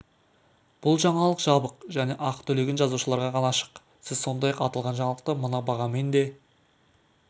бұл жаңалық жабық және ақы төлеген жазылушыларға ғана ашық сіз сондай-ақ аталған жаңалықты мына бағамен де